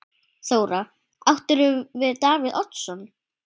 Þóra: Áttirðu við Davíð Oddsson?